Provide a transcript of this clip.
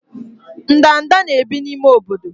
ndanda na-ebi n'ime obodo.